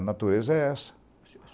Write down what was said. A natureza é essa.